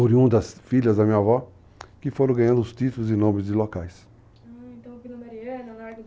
Oriundas, filhas da minha avó, que foram ganhando os títulos e nomes de locais. Ah, então Vila Mariana... Ela